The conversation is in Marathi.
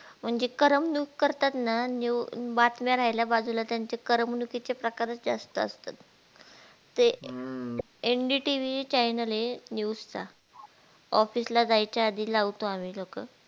म्हणजे करमणूक करता ना न्यू बातम्या राहिल्या बाजूला त्याचा करमणूकी चे प्रकारच जास्त असतात ते NDTVchannel हे news चा office ला जायच्या आधी लावतो आम्ही लो